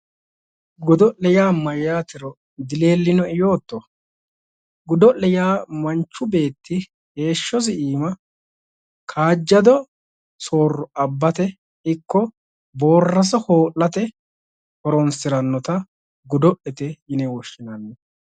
Godo'le yaa mayyaatero dileellino'e yootto? godo'le yaa manchu beetti heehshosi iima kaajjado soorro abbate ikko boorraso hoo'late horonsirannota godo'lete yine woshshinanni.